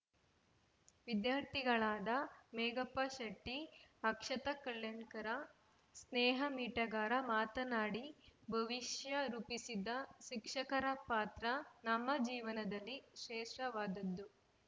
ವಿದ್ಯಾರ್ಥಿಗಳಾದ ಮೇಘಾ ಪಾಶೆಟ್ಟಿ ಅಕ್ಷತಾ ಕಲ್ಯಾಣಕರ ಸ್ನೇಹಾ ಮಿಟಗಾರ ಮಾತನಾಡಿ ಭವಿಷ್ಯ ರೂಪಿಸಿದ ಶಿಕ್ಷಕರ ಪಾತ್ರ ನಮ್ಮ ಜೀವನದಲ್ಲಿ ಶ್ರೇಷ್ಟವಾದದ್ದು